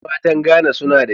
Yan matan "Ghan" su na da kyau.